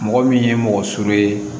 Mɔgɔ min ye mɔgɔ surun ye